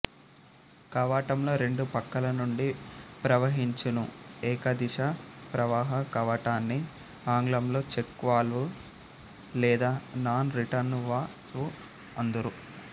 కవాటంలో రెండు పక్కలనుండి ప్రవహించును ఏక దిశ ప్రవాహ కవాటాన్ని ఆంగ్లంలో చెక్ వాల్వు లేదా నాన్ రిటర్నువాల్వుఅందురు